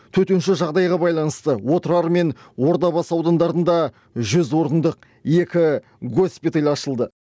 төтенше жағдайға байланысты отырар мен ордабасы аудандарында жүз орындық екі госпиталь ашылды